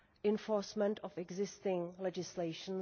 enforcement of existing legislation.